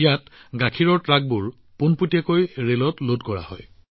ইয়াত গাখীৰৰ ট্ৰাক পোনপটীয়াকৈ ৰেলত লগাই দিয়া হয়